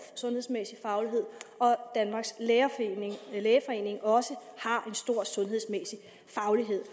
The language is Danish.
sundhedsmæssig faglighed og danmarks lægeforening også har en stor sundhedsmæssig faglighed